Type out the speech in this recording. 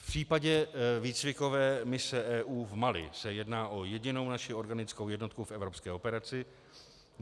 V případě výcvikové mise EU v Mali se jedná o jedinou naši organickou jednotku v evropské operaci.